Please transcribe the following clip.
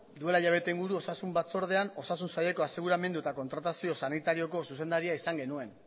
duela hilabete inguru osasun batzordean osasun saileko aseguramendu eta kontratazio sanitarioko zuzendaria izan genuen